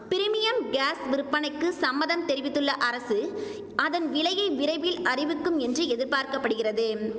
premium gas விற்பனைக்கு சம்மதம் தெரிவித்துள்ள அரசு அதன் விலையை விரைவில் அறிவிக்கும் என்று எதிர்பார்க்க படுகிறது